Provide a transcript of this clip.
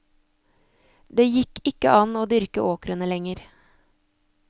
Det gikk ikke an å dyrke åkrene lenger.